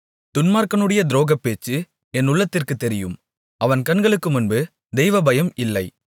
துன்மார்க்கனுடைய துரோகப்பேச்சு என் உள்ளத்திற்குத் தெரியும் அவன் கண்களுக்குமுன்பு தெய்வபயம் இல்லை